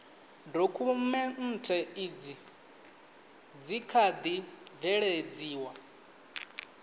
dokhumenthe izi dzi kha ḓi bveledziwa